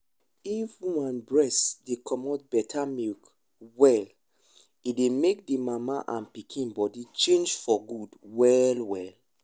if woman breast dey comot better milk well e dey make the mama and pikin body change for good well well.